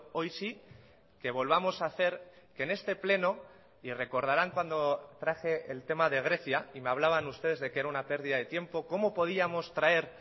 hoy sí que volvamos a hacer que en este pleno y recordarán cuando traje el tema de grecia y me hablaban ustedes de que era una pérdida de tiempo cómo podíamos traer